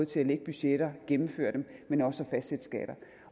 til at lægge budgetter og gennemføre dem men også at fastsætte skatter